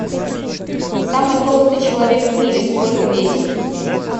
самый толстый человек в мире сколько весил